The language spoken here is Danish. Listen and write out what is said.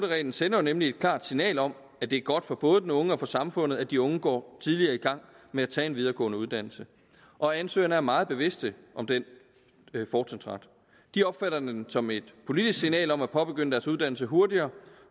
reglen sender jo nemlig et klart signal om at det er godt for både de unge og for samfundet at de unge går tidligere i gang med at tage en videregående uddannelse og ansøgerne er meget bevidste om den fortrinsret de opfatter den som et politisk signal om at påbegynde deres uddannelse hurtigere